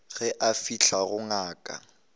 ge a fihla go ngaka